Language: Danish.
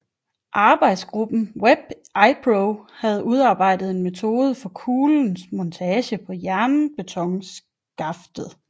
Arbejdsgruppen VEB Ipro havde udarbejdet en metode for kuglens montage på jernbetonskaftet